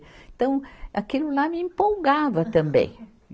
Então, aquilo lá me empolgava também.